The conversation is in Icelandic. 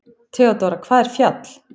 THEODÓRA: Hvaða fjall?